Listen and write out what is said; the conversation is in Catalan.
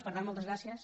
per tant moltes gràcies